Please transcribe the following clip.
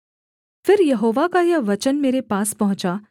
फिर यहोवा का यह वचन मेरे पास पहुँचा